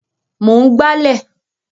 Mò ń gbálẹ̀